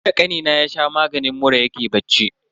Tunda kanina ya sha maganin mura yake bacci.